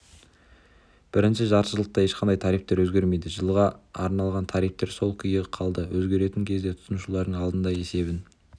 бірінші жартыжылдықта ешқандай тарифтер өзгермейді жылға арналған тарифтер сол күйі қалды өзгеретін кезде тұтынушылардың алдында есебін